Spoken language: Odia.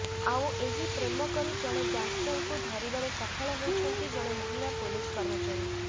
ଆଉ ଏହି ପ୍ରେମ କରି ଜଣେ ଗ୍ୟାଙ୍ଗଷ୍ଟରକୁ ଧରିବାରେ ସଫଳ ହୋଇଛନ୍ତି ଜଣେ ମହିଳା ପୁଲିସ କର୍ମଚାରୀ